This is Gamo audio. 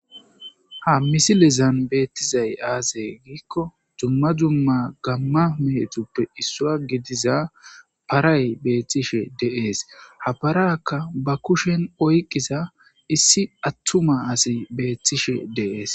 ha misilezan beettizay aazay giikko jumma jumma gamma meetuppe issua gidiza paray beethtishe deees habarakka ba kushen oyqisa issi attuma asi beethtishe deees